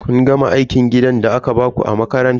Kun gama aikin gidan da aka baku a makaranta?